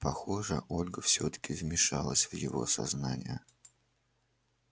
похоже ольга всё-таки вмешалась в его сознание